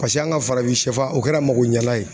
an ka farafin sɛfan o kɛra magoɲɛlan ye